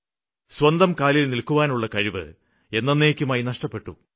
സ്വന്തം കാലില് നില്ക്കുവാനുള്ള കഴിവ് എന്നന്നേയ്ക്കുമായി നഷ്ടപ്പെട്ടു